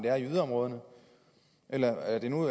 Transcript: er i yderområderne eller er det nu